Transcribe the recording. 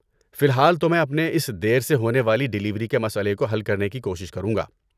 فی الحال تو میں اپنے اس دیر سے ہونے والی ڈلیوری کے مسئلے کو حل کرنے کی کوشش کروں گا۔